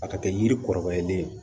A ka kɛ yiri kɔrɔbayalen ye